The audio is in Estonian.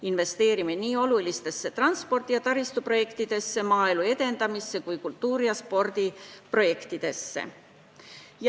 Investeerime nii olulistesse transpordi- ja taristuprojektidesse, maaelu edendamisse kui kultuuri- ja spordiprojektidesse.